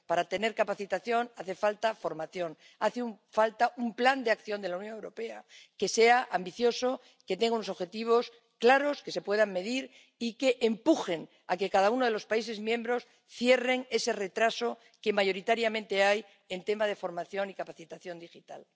para tener capacitación hace falta formación, hace falta un plan de acción de la Unión Europea que sea ambicioso, que tenga unos objetivos claros, que se puedan medir y que empujen a que cada uno de los países miembros cierren ese retraso que mayoritariamente hay en temas de formación y capacitación digital.